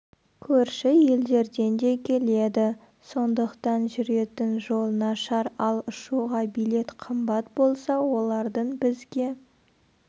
көрші елдерден де келеді сондықтан жүретін жол нашар ал ұшуға билет қымбат болса олардың бізге